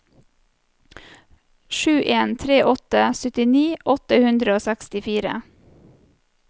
sju en tre åtte syttini åtte hundre og sekstifire